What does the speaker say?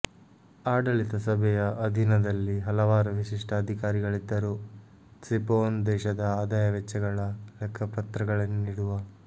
ಆಡಳಿತಸಭೆಯ ಅಧೀನದಲ್ಲಿ ಹಲವಾರು ವಿಶಿಷ್ಟ ಅಧಿಕಾರಿಗಳಿದ್ದರು ತ್ಸಿಪೊನ್ ದೇಶದ ಆದಾಯವೆಚ್ಚಗಳ ಲೆಕ್ಕಪತ್ರಗಳನ್ನಿಡುವ